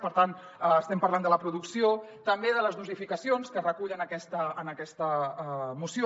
per tant estem parlant de la producció també de les dosificacions que es recullen en aquesta moció